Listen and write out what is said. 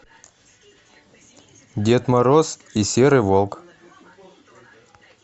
дед мороз и серый волк